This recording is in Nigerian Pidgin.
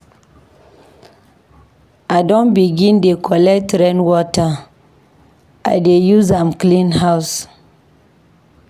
I don begin dey collect rain water, I dey use am clean house.